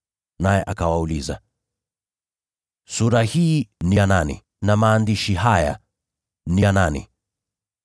Naye akawauliza, “Sura hii ni ya nani? Na maandishi haya ni ya nani?”